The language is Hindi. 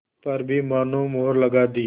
पर भी मानो मुहर लगा दी